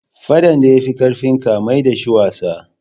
Faɗan da ya fi ƙarfinka, mai da shi wasa